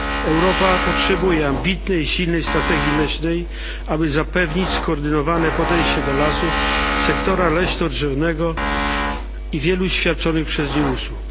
Europa potrzebuje ambitnej, silnej strategii leśnej, aby zapewnić skoordynowane podejście do lasów, sektora leśno drzewnego i wielu świadczonych przez nie usług.